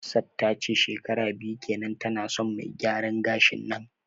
Hafsat tace shekara biyu kenan tana son me gyaran gashin nan